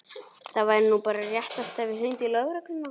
Það væri nú bara réttast að ég hringdi í lögregluna.